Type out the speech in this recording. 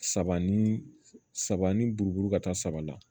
Saba ni saba ni buru ka taa saba la